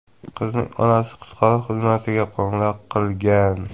Qizning onasi qutqaruv xizmatiga qo‘ng‘iroq qilgan.